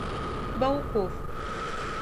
бауков